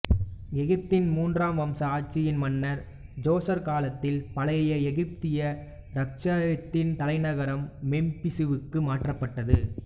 எகிப்தின் மூன்றாம் வம்ச ஆட்சியின் மன்னர் ஜோசர் காலத்தில் பழைய எகிப்திய இராச்சியத்தின் தலைநகரம் மெம்பிசுவுக்கு மாற்றப்பட்டது